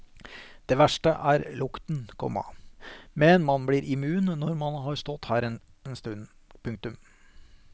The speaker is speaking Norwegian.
Det verste er lukten, komma men man blir immun når man har stått her en stund. punktum